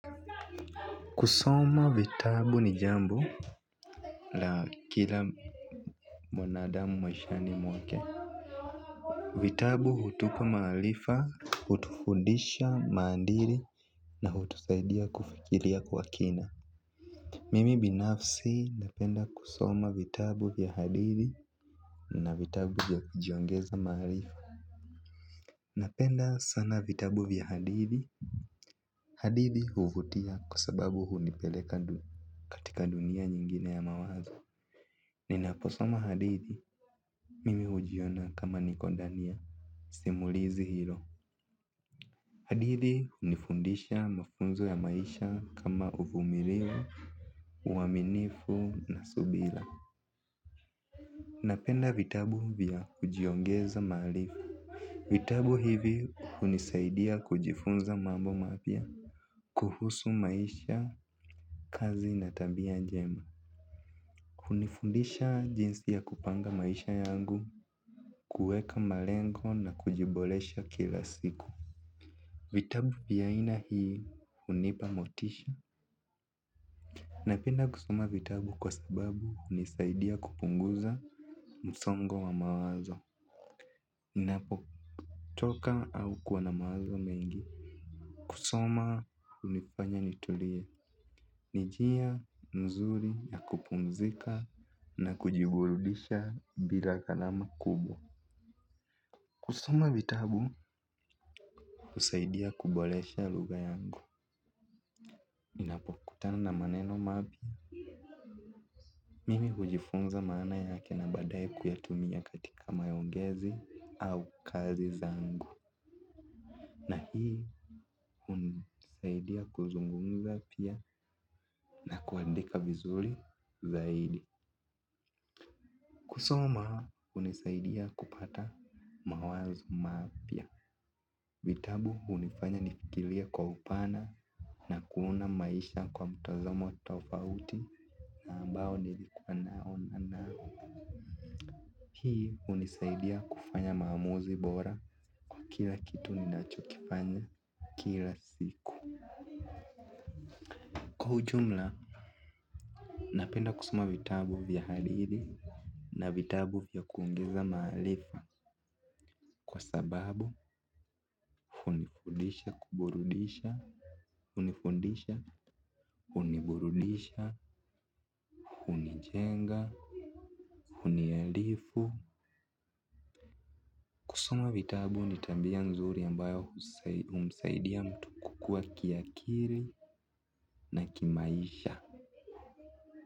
Kusoma vitabu ni jambo la kila mwanadamu maishani mwake. Vitabu hutupa maarifa, hutufundisha maadili na hutusaidia kufikiria kwa kina. Mimi binafsi napenda kusoma vitabu vya hadithi na vitabu vya kujiongeza maarifa. Napenda sana vitabu vya hadithi. Hadithi huvutia kwa sababu hunipeleka katika dunia nyingine ya mawazo. Ninaposoma hadithi mimi hujiona kama niko ndani ya simulizi hilo. Hadithi hunifundisha mafunzo ya maisha kama uvumilivu, uaminifu na subira. Napenda vitabu vya kujiongeza maarifa. Vitabu hivi hunisaidia kujifunza mambo mapya kuhusu maisha, kazi na tabia njema. Hunifundisha jinsi ya kupanga maisha yangu, kuweka malengo na kujiboresha kila siku. Vitabu vya aina hii hunipa motisha. Napenda kusoma vitabu kwa sababu hunisaidia kupunguza msongo wa mawazo. Ninapochoka au kuwa na mawazo mengi kusoma hunifanya nitulie. Ni njia mzuri ya kupumzika na kujiburudisha bila gharama kubwa. Kusoma vitabu husaidia kuboresha lugha yangu. Ninapokutana na maneno mapya mimi hujifunza maana yake na baadaye kuyatumia katika maongezi au kazi zangu. Na hii hunisaidia kuzungumza pia na kuandika vizuri zaidi. Kusoma hunisaidia kupata mawazo mapya. Vitabu hunifanya nifikirie kwa upana na kuona maisha kwa mtazamo tofauti na ambao nilikuwa naona nao. Hii hunisaidia kufanya maamuzi bora kwa kila kitu ninachokifanya kila siku. Kwa ujumla, napenda kusoma vitabu vya hadithi na vitabu vya kuongeza maarifa kwa sababu hunifundisha kuburudisha, hunifundisha, huniburudisha, hunijenga, huniarifu. Kusoma vitabu ni tabia nzuri ambayo humsaidia mtu kukua kiakili na kimaisha.